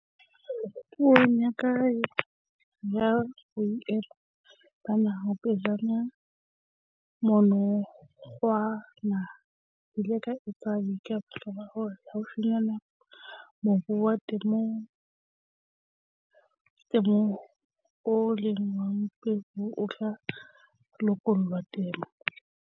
Puong ya ka ya Boemo ba Naha pejana monongwaha ke ile ka etsa boitlamo ba hore haufinyane mobu wa temothuo oo e leng wa mmuso o tla lokollelwa temo.